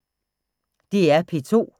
DR P2